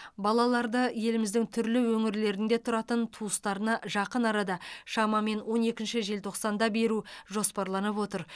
балаларды еліміздің түрлі өңірлерінде тұратын туыстарына жақын арада шамамен он екінші желтоқсанда беру жоспарланып отыр